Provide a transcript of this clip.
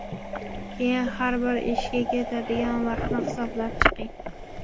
Keyin har bir ishga ketadigan vaqtni hisoblab chiqing.